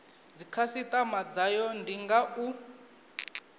dzikhasitama dzayo ndi nga u